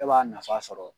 E b'a nafa sɔrɔ